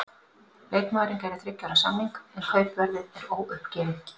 Leikmaðurinn gerir þriggja ára samning, en kaupverðið er óuppgefið.